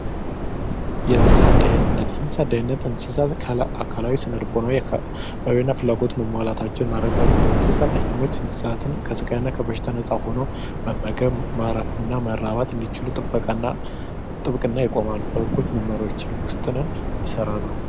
የእንስሳት ደህንነት እንስሳት ድህነት በእንስሳት አካላዊና ስነ ልቦናዊ ፍላጎት መሟላታቸውን ማረጋገጠ ሲሆን ከስጋትና ከበሽታ ነጻ ሆኖ መመገብ ማረፊና መራባት እንዲችሉ ጥበቃና ጥብቅና ይቆማሉ መመሪያዎችንም ይሠራሉ።